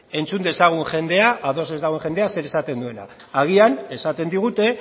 entzun dezagun jendea ados ez dagoen jendea zer esaten duen agian esaten digute